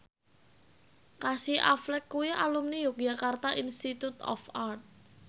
Casey Affleck kuwi alumni Yogyakarta Institute of Art